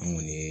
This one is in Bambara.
An kɔni ye